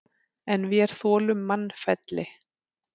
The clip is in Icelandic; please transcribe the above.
En vér þolum mannfelli.